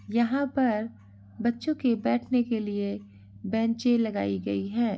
यहाँ पर बच्चों के बैठने के लिए बेंचें लगाई गई हैं।